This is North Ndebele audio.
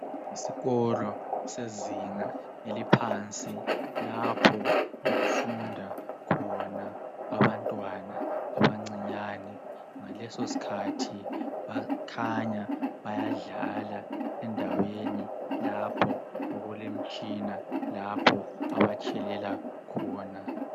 Isikolo sezinga eliphansi. Lapho okufunda khona abantwana abancInyane. Ngalesosikhathi bakhanya bayadlala, endaweni lapho okulemitshina. Lapho abatshelela khona.